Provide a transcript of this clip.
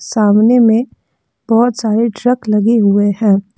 सामने में बहोत सारे ट्रक लगे हुए हैं।